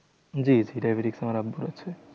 জি জি diabetes আমার আব্বুর আছে।